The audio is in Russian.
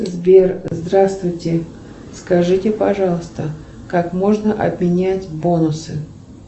сбер здравствуйте скажите пожалуйста как можно обменять бонусы